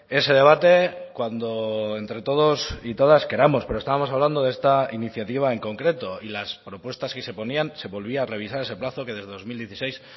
ese debate cuando entre todos y todas queramos pero estábamos hablando de esta iniciativa en concreto y las propuestas que se ponían se volvía a revisar ese plazo que desde dos mil dieciséis